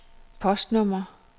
postnummer